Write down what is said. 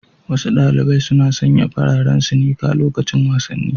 Wasu ɗaliɓai suna sanƴa fararen sinika loƙacin wasanni.